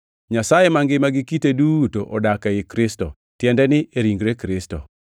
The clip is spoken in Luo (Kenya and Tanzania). Nyasaye mangima gi kite duto odak ei Kristo, tiende ni e ringre Kristo,